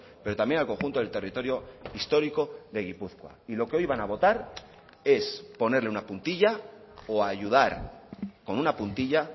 pero también al conjunto del territorio histórico de gipuzkoa y lo que hoy van a votar es ponerle una puntilla o ayudar con una puntilla